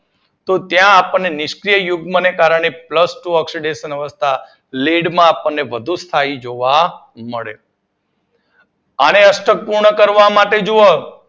તો ત્યાં આપડને નિષ્ક્રીય યુગ્મ ને કારણે આને અષ્ટક પૂર્ણ કરવા માટે જુઓ